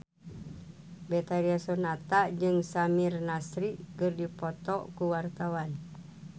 Betharia Sonata jeung Samir Nasri keur dipoto ku wartawan